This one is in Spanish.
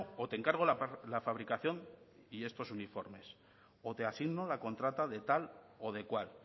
o te encargo la fabricación y estos uniformes o te asigno la contrata de tal o de cual